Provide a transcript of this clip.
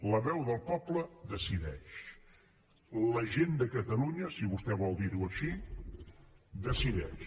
la veu del poble decideix la gent de catalunya si vostè vol dir ho així decideix